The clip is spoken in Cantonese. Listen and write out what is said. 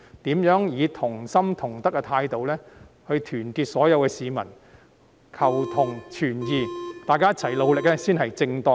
所有市民以同心同德的態度團結一致，求同存異，大家一起努力才是正當的方法。